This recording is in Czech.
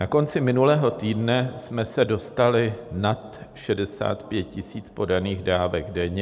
Na konci minulého týdne jsme se dostali nad 65 000 podaných dávek denně.